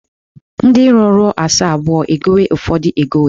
Ndị iro ruo asaa abụọ, e gowe ụfọdụ egowe.